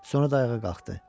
Sonra da ayağa qalxdı.